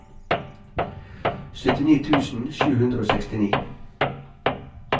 syttini tusen sju hundre og sekstini